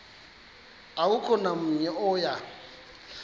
akukho namnye oya